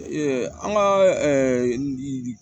an ka